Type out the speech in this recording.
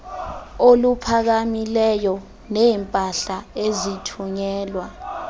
oluphakamileyo neempahla ezithunyelwa